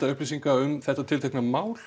upplýsingum um þetta mál